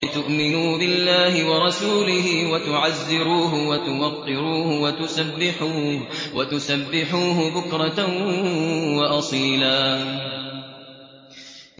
لِّتُؤْمِنُوا بِاللَّهِ وَرَسُولِهِ وَتُعَزِّرُوهُ وَتُوَقِّرُوهُ وَتُسَبِّحُوهُ بُكْرَةً وَأَصِيلًا